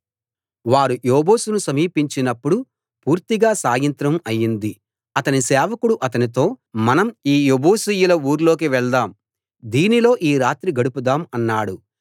వారు యెబూసును సమీపించినప్పుడు పూర్తిగా సాయంత్రం అయింది అతని సేవకుడు అతనితో మనం ఈ యెబూసీయుల ఊర్లోకి వెళ్దాం దీనిలో ఈ రాత్రి గడుపుదాం అన్నాడు